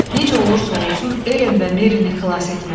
Necə olursa olsun, Elen və Merini xilas etmək.